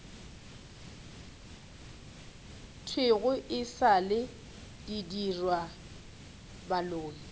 thwego e sa le didirwabaloi